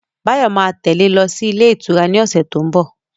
Báyọ̀ ma tẹ́lẹ̀ lọ sí ilé ìtura ni ọ̀sẹ̀ tó ń bọ̀